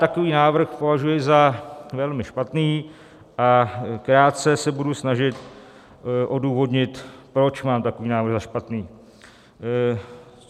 Takový návrh považuji za velmi špatný a krátce se budu snažit odůvodnit, proč mám takový návrh za špatný.